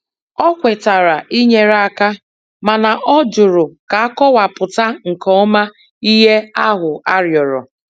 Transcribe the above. O kwetara inyere aka mana ọ jụrụ ka akọwapụta nke ọma ihe ahụ arịọrọ.